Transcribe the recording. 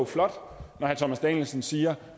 flot når herre thomas danielsen siger